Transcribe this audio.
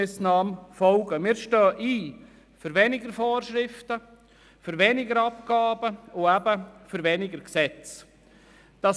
Wir stehen für weniger Vorschriften, weniger Abgaben und weniger Gesetze ein.